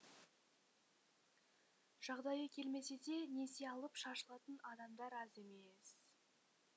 жағдайы келмесе де несие алып шашылатын адамдар аз емес